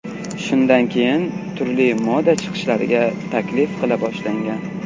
Shundan keyin turli moda chiqishlariga taklif qila boshlangan.